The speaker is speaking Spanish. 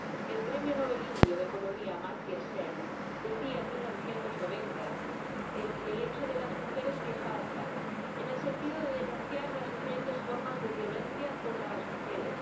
El Premio Nobel indio de economía, Amartya Sen, hablaba en 1990 de las mujeres que faltan, en el sentido de denunciar las diferentes formas de violencia contra las mujeres.